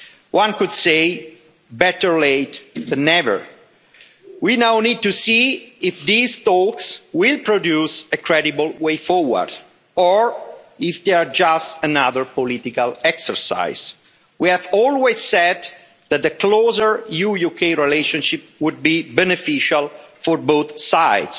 One could say better late than never'. We now need to see if these talks will produce a credible way forward or if they are just another political exercise. We have always said that a closer EU-UK relationship would be beneficial for both sides